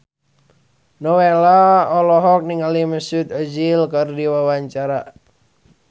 Nowela olohok ningali Mesut Ozil keur diwawancara